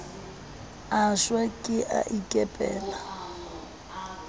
a shwa ke a ikepela